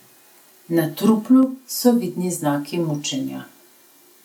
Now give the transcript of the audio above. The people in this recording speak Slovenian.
Na truplu so vidni znaki mučenja.